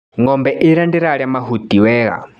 Ngombe ĩria ndĩrarĩa mahutu wega.